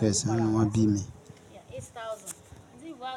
kẹsàn-án. Ni won bi mi.